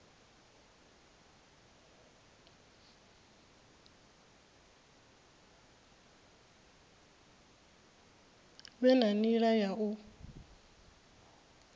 vhe na nila ya u